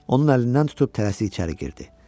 Onun əlindən tutub tələsik içəri girdi.